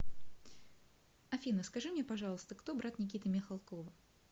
афина скажи мне пожалуиста кто брат никиты михалкова